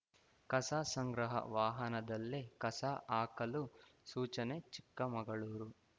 ಕಸ ಸಂಗ್ರಹ ವಾಹನದಲ್ಲೇ ಕಸ ಹಾಕಲು ಸೂಚನೆ ಚಿಕ್ಕಮಗಳೂರು